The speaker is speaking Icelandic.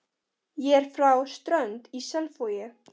Ég er frá Strönd í Selvogi.